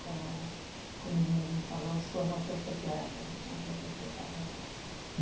Qual era, como ele mesmo falou, a sua motocicleta? Mas aí você estava...